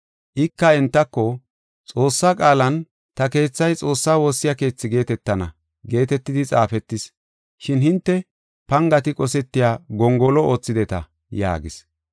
Ika entako, “Xoossaa qaalan, ‘Ta keethay Xoossaa woossiya keethi geetetana’ geetetidi xaafetis. Shin hinte pangati qosetiya gongolo oothideta” yaagis.